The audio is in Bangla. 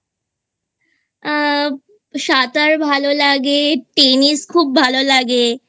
আ সাঁতার ভালো লাগে Tennis খুব ভালো লাগে